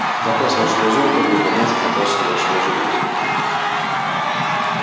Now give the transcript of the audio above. запас вашего золота будет равняться запасу вашего железа